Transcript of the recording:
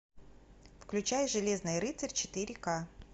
включай железный рыцарь четыре к